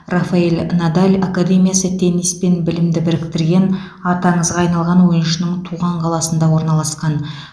рафаэль надаль академиясы теннис пен білімді біріктірген аты аңызға айналған ойыншының туған қаласында орналасқан